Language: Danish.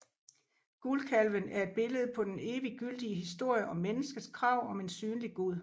Guldkalven er et billede på den eviggyldige historie om menneskets krav om en synlig Gud